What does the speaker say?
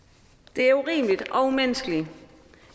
det er urimeligt og umenneskeligt